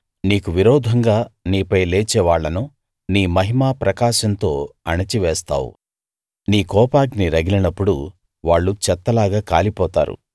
నీకు విరోధంగా నీపై లేచేవాళ్లను నీ మహిమా ప్రకాశంతో అణచి వేస్తావు నీ కోపాగ్ని రగిలినప్పుడు వాళ్ళు చెత్తలాగా కాలిపోతారు